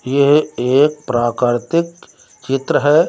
यह एक प्राकरतिक चित्र है।